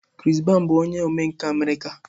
Chris Brown bụ onye omenkà America.